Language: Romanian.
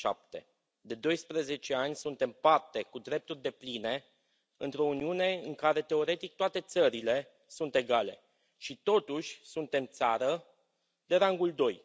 2007. De doisprezece ani suntem parte cu drepturi depline într o Uniune în care teoretic toate țările sunt egale și totuși suntem țară de rangul doi.